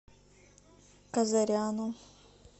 казаряну